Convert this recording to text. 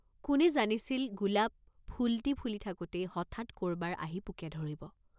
কোনে জানিছিল, গোলাপ ফুলটি ফুলি থাকোঁতেই হঠাৎ কৰবাৰ আহি পোকে ধৰিব?